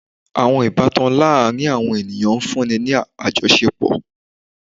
Awọn ibatan laarin awọn eniyan nfunni ni ajọṣepọ